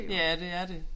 Ja det er det